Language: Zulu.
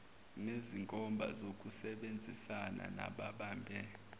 nezinkomba zokusebenzisana nababambe